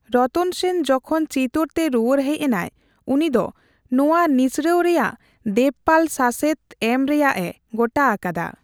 ᱨᱚᱛᱚᱱ ᱥᱮᱱ ᱡᱚᱠᱷᱚᱱ ᱪᱤᱛᱳᱨᱛᱮ ᱨᱩᱭᱟᱹᱲ ᱦᱮᱪ ᱮᱱᱟᱭ, ᱩᱱᱤ ᱫᱚ ᱱᱳᱣᱟ ᱱᱤᱥᱲᱟᱹᱣ ᱨᱮᱭᱟᱜ ᱫᱮᱵᱯᱟᱞ ᱥᱟᱥᱮᱛ ᱮᱢ ᱨᱮᱭᱟᱜ ᱮ ᱜᱚᱴᱟ ᱟᱠᱟᱫᱟ ᱾